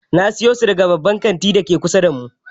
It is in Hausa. Na sayo su daga babban kantin dake kusa da mu.